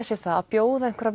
sér það að bjóða einhverja